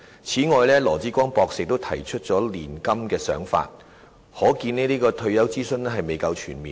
此外，羅致光博士亦提出了"年金"的想法，可見這次退休諮詢未夠全面。